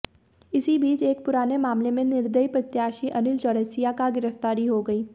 इसी बीच एक पुराने मामले में निर्दलीय प्रत्याशी अनिल चौरसिया का गिरफ्तारी हो गई